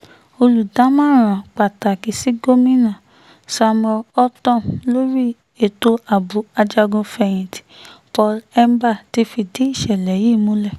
olùdámọ̀ràn pàtàkì sí gomina samuel ortom lórí ètò ààbò ajagun-fẹ̀yìntì paul hemba ti fìdí ìṣẹ̀lẹ̀ yìí múlẹ̀